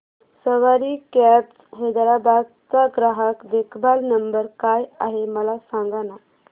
सवारी cabs Hyderabad चा ग्राहक देखभाल नंबर काय आहे मला सांगाना